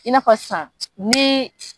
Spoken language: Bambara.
I n'a fɔ sisan ni